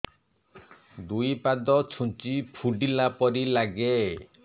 ଦୁଇ ପାଦ ଛୁଞ୍ଚି ଫୁଡିଲା ପରି ଲାଗେ